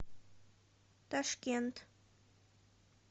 ташкент